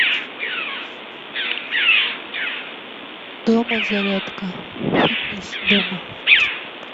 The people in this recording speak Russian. дома зарядка фитнес дома